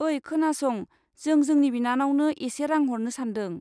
ओइ, खोनासं, जों जोंनि बिनानावनो एसे रां हरनो सान्दों।